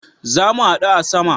Zamu hadu a sama